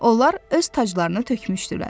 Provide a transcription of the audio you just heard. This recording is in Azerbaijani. Onlar öz taclarını tökmüşdülər.